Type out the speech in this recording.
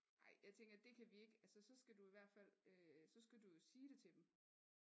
Ej jeg tænker det kan vi ikke altså så skal du i hvert fald øh så skal du jo sige det til dem